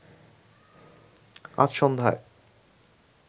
আজ সন্ধ্যায়